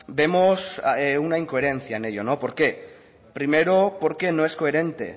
vemos una incoherencia en ello por qué primero porque no es coherente